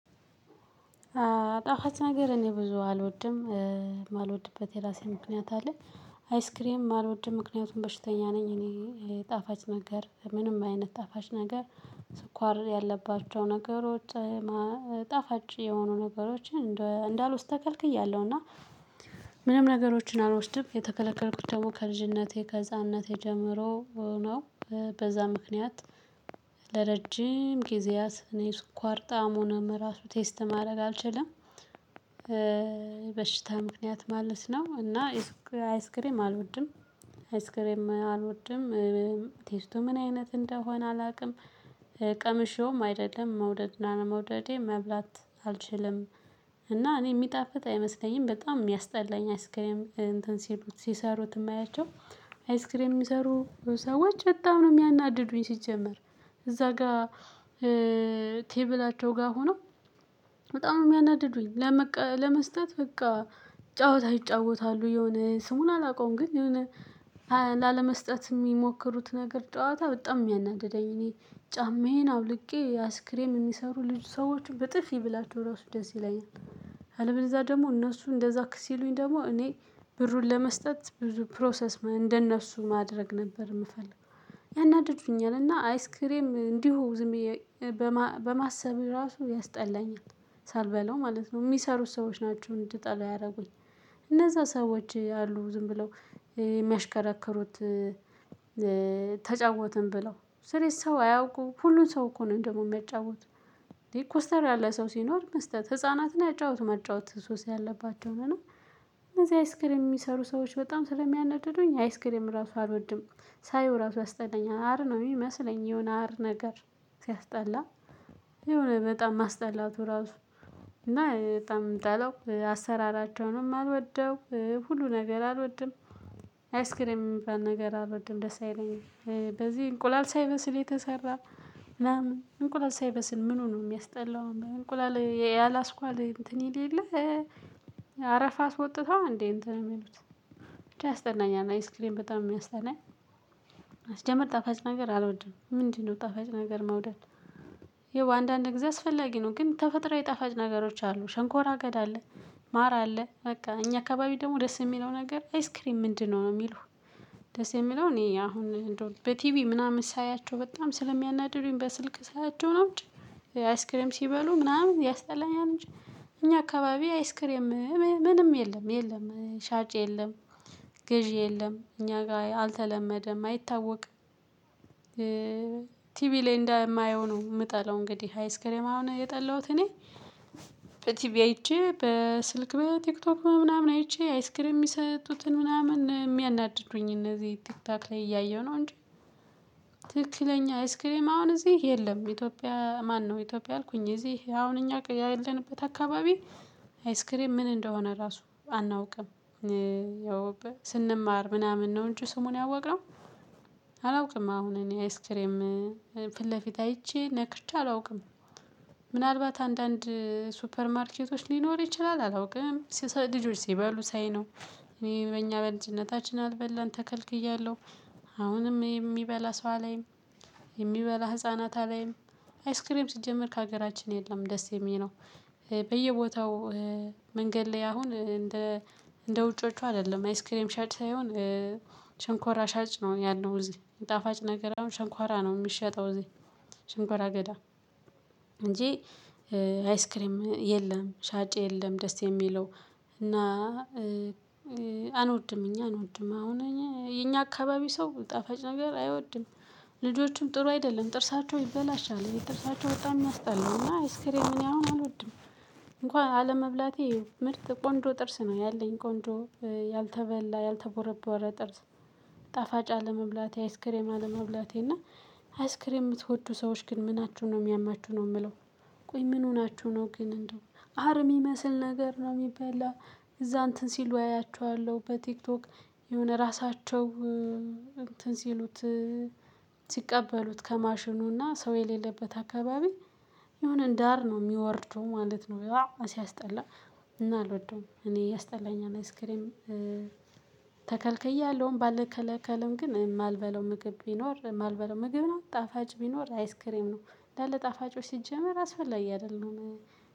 ጣፋጭ ነገር እኔ ብዙ አልወድም የማልወድበት የራሴ ምክንያት አለ አይስክሬም አልወድም ምክንያቱም በሽተኛ ነኝ። እኔ ጣፋጭ ነገር ምንም አይነት ጣፋጭ ነገር። ስኳር ያለባቸው ነገሮች ማ ጣፋጭ የሆኑ ነገሮችን እንዳልወስድ ተካልክያለውና ክል። ምንም ነገሮችን አልወስድም የተከለከልኩት ደግሞ ከልጅነቴ ከህፃንነቴ ጀምሮ ነው። ምክንያት ለረጅም ጊዜያት እኔ ስኳር ጣዕሙንም ራሱ ቴስት ማድረግ አልችልም። በሽታ ምክንያት ማለት ነው። እና የሱቅ አይስክሬም አልወድም። አይስክሬም አልወድም። ቴስቱ ምን አይነት እንደሆነ አላውቅም። ቀምሼውም አይደለም መውደድ እና ለመውደዴ መብላት አልችልም። እና እኔ የሚጣፍጥ አይመስለኝም በጣም የሚያስጠላኝ አይስክሬም እንትን ሲሉት ሲሰሩት የማያቸው አይስክሬም የሚሰሩ ሰዎች በጣም ነው የሚያናድዱኝ። ሲጀመር እዛ ጋር ቴብላቸው ጋር ሆኖ በጣም ነው የሚያናድዱኝ። ለመስጠት በቃ ጫወታ ይጫወታሉ የሆነ ስሙን አላውቀውም። ግን የሆኔ ላለመስጠት የሚሞክሩት ነገር ጨዋታ በጣም የሚያናድደኝ። እኔ ጫማዬን አውልቄ አስይስክሬም የሚሰሩ ልጅ ሰዎችን ብጥፊ ብላችሁ ራሱ ደስ ይለኛል። አለበለዝያ ደግሞ እነሱ እንደዛ ሲሉኝ ደግሞ እኔ ብሩን ለመስጠት ብሩ ፕሮሰስ እንደነሱ ማድረግ ነበር የምፈልገው። ያናድዱኛል እና አይስክሬም እንዲሁ ዝም በማ በማሰብ ራሱ ያስጠላኛል። ሳልበላው ማለት ነው የሚሰሩት ሰዎች ናቸው እንድጠሉ ያደረጉኝ። እነዛ ሰዎች አሉ ዝም ብለው የሚያሽከረክሩት። ተጫወትን ብለው ስለዚህ ሰው አያውቁም ሁሉም ሰው እኮ ነው ደግሞ የሚያጫውት። እንዴ ኮስተር ያለ ሰው ሲኖር መስጠት ህፃናትን ያጫውት መጫወት ሶስ ያለባቸውን እና እነዚህ አይስክሪም የሚሰሩ ሰዎች በጣም ስለሚያነድዱኝ አይስክሬም ራሱ አልወድም። ሳየው ራሱ ያስጠላኛል አር ነው የሚመስለኝ የሆነ አር ነገር። ሲያስጠላ የሆነ በጣም ማስጠላቱ ራሱ። እና በጣም ነው ምጠላው አሰራራቸውንም አልወደውም ሁሉ ነገር አልወድም። አይስክሪም የሚባል ነገር አልወድም ደስ አይለኝም። በዚህ እንቁላል ሳይበስል የተሰራ ምናምን እንቁላል ሳይበስል ምኑ ነው የሚያስጠላው? እንቁላል የያላስኳል እንትን ይል የለ አረፋ አስወጥተው አ እንዴ እንትን ነው የሚሉት? ያስጠላኛል አይስክሬም በጣም የሚያስጠላኝ። ስጀመር ጠፋጭ ነገር አልወድም ምንድነው ጣፋጭ ነገር መውደድ? ይኸው አንዳንድ ጊዜ አስፈላጊ ነው ግን ተፈጥሮዊ ጣፋጭ ነገሮች አሉ ሸንኮራ አገዳ አለ። ማራ አለ በቃ እኛ አካባቢ ደግሞ ደስ የሚለው ነገር አይስክሬም ምንድነው ነው የሚሉህ? ደስ የሚለው እኔ አሁን በቲቪ ምናምን ሳያቸው በጣም ስለሚያናድዱኝ በስልክ ሳያቸው ነው እንጂ። አይስክሬም ሲበሉ ምናምን ያስጠላኛል እንጂ። እኛ አካባቢ አይስክሬም ምንም የለም የለም ሻጭ የለም። ግዢ የለም እኛ ጋር አልተለመደም አይታወቅም። ቲቪ ላይ እንደማየው ነው የምጠለው። እንግዲህ አይስክሬም አሁን የጠላሁት እኔ በቲቪ አይቼ በስልክ በቲክቶክ ምናምን አይቼ አይስክር የሚሰጡትን ምናምን የሚያናድዱኝ እነዚህ ቲክቶክ ላይ እያየሁ ነው እንጂ። ትክክለኛ አይስክሪም አሁን እዚህ የለም። ኢትዮጵያ ማነው ኢትዮጵያ አልኩኝ እዚህ አሁን እኛ ያለንበት አካባቢ። አይስክሬም ምን እንደሆነ ራሱ አናውቅም። ያው ስንማር ምናምን ነው እንጩ ስሙን ያወቅነው። አላውቅም አሁን እኔ አይስክሬም ፊት ለፊት አይቼ ነክቼ አላውቅም። ምናልባት አንዳንድ ሱፐር ማርኬቶች ሊኖር ይችላል አላውቅም ልጆች ሲባሉ ሳይ ነው። እኔ በእኛ በልጅነታችን አልበላን ተከልክያለሁ። አሁንም የሚበላ ሰው አላይም። የሚበላ ህፃናት አላይም። አይስክሬም ሲጀመር ከሀገራችን የለም ደስ የሚለው። በየቦታው መንገድ ላይ አሁን እንደ ውጮቹ አይደለም አይስክሬም ሻጭ ሳይሆን። ሽንኳራ ሻጭ ነው ያለው እዚህ ጣፋጭ ነገር አሁን ሽንኳራ ነው የሚሸጠው እዚህ። ሽንኳራ አገዳ እንጂ አይስክሬም የለም ሻጭ የለም ደስ የሚለው። እና አንወድም እኛ አንወድም አሁን እኛ አካባቢ ሰው ጠፋጭ ነገር አይወድም። ልጆችም ጥሩ አይደለም ጥርሳቸው ይበላሻል የጥርሳቸው በጣም ምያስጠላውና አይስክሬም እኔ አሁን አልወድም። እንኳን አለመብላቴ ምርጥ ቆንጆ ጥርስ ነው ያለኝ ቆንጆ ያልተበላ ያልተቦረቦረ ጥርስ። ጣፋጭ አለመብላቴ አይስክሬም አለመብላቴ እና አይስክሬም የምትወዱ ሰዎች ግን ምናችሁ ነው የሚያማችሁ ነው የምለው? ቆይ ምን ሆናችሁ ነው ግን እንደው አር ምመስል ነገር ነው የሚበላ? እዛ እንትን ሲሉ አያቸዋለሁ በቲክቶክ የሆነ ራሳቸው እንትን ሲሉት ሲቀበሉት ከማሽኑና ሰው የሌለበት አካባቢ። የሆነ እንደ አር ነው የሚወርደው ማለት ነው። ሲያስጠላ እና አልወደውም እኔ ያስጠላኝ አይስክሬም። ተከልክያለሁም ባልከለከልም ግን የማልበለው ምግብ ቢኖር የማልበለው ምግብ ነው ጣፋጭ ቢኖር አይስክሬም ነው እንዳለ ጣፋጮች ሲጀመር አስፈላጊ አይደለም።